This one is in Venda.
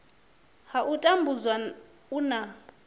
ha u tambudzwa u na